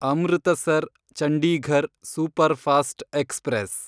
Amritsar Chandigarh superfast express